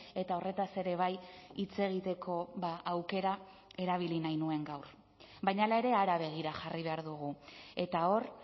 eta horretaz ere bai hitz egiteko aukera erabili nahi nuen gaur baina hala ere hara begira jarri behar dugu eta hor